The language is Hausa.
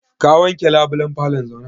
Ka wanke labulan falo?